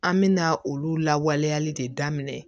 An mɛna olu lawaleyali de daminɛ